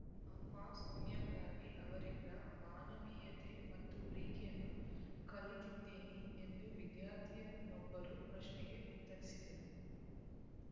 ಅಮ್ಮ ಸೋನಿಯಾ ಗಾಂಧಿ ಅವರಿಂದ ಮಾನವೀಯತೆ ಮತ್ತು ಪ್ರೀತಿಯನ್ನು ಕಲಿತಿದ್ದೇನೆ ಎಂದು ವಿದ್ಯಾರ್ಥಿನಿಯೊಬ್ಬರ ಪ್ರಶ್ನೆಗೆ ಉತ್ತರಿಸಿದರು